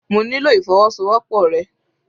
Mo nílò ìfọwọ́sowọ́pọ̀ rẹ.